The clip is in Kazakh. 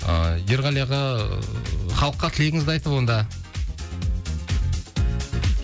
ыыы ерғали аға халыққа тілегіңізді айтып онда